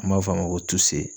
An b'a f'a ma ko